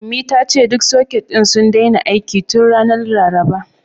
Ummi ta ce duk soket ɗin sun daina aiki tun ranar Laraba.